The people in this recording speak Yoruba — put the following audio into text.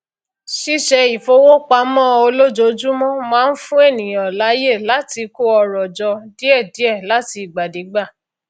ṣíṣètò ìfowópamọ olójoojúmọ máa n fún ènìyàn láayè láti kó ọrọ jọ díẹdíẹ láti ìgbàdégbà